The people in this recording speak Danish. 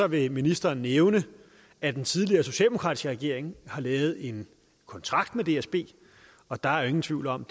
vil ministeren nævne at den tidligere socialdemokratiske regering lavede en kontrakt med dsb og der er ingen tvivl om